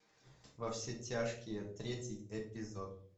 во все тяжкие третий эпизод